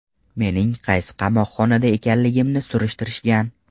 Mening qaysi qamoqxonada ekanligimni surishtirishgan.